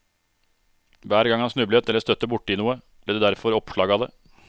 Hver gang han snublet eller støtte bort i noe, ble det derfor oppslag av det.